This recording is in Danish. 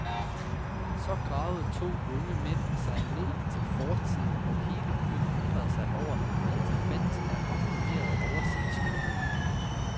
Så gravede to unge mænd sig ned til fortiden, og hele byen undrede sig over, hvad de fandt af ramponeret, overset skønhed.